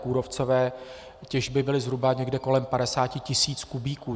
Kůrovcové těžby byly zhruba někde kolem 50 tisíc kubíků.